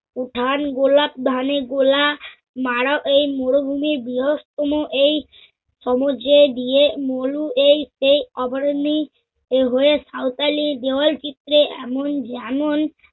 ধান গোলাপ ধানে গোলা মারা এই মরুভূমির বৃহত্তম এই সমুদ্রে দিয়ে মরু এই সেই অভরণ্যে হয়ে সাওতালি দেওয়ালচিত্রে এমন যেমন